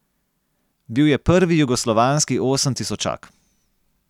Bil je prvi jugoslovanski osemtisočak.